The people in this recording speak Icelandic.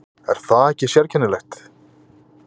Er það ekki sérkennilegt?